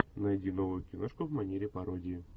найди новую киношку в манере пародии